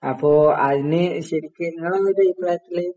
അപ്പോ അതിന് ശരിക്കും